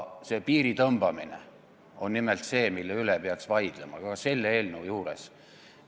Selle piiri tõmbamine on nimelt see, mille üle peaks ka selle eelnõu puhul vaidlema.